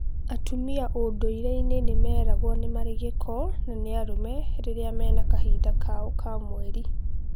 Atumia ũndũirĩinĩ meraguo nĩ marĩ gĩko na nĩ arume riria mena kahinda kao ka mweri